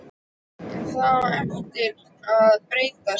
En það á eftir að breytast.